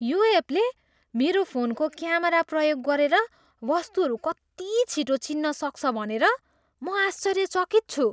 यो एपले मेरो फोनको क्यामेरा प्रयोग गरेर वस्तुहरू कति छिटो चिन्न सक्छ भनेर म आश्चर्यचकित छु।